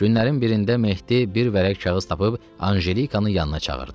Günlərin birində Mehdi bir vərəq kağız tapıb Anjelikanın yanına çağırdı.